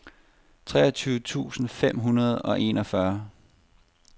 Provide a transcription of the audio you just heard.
treogtyve tusind fem hundrede og enogfyrre